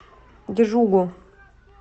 джугу